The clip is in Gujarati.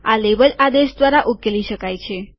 આ લેબલ આદેશ દ્વારા ઉકેલી શકાય છે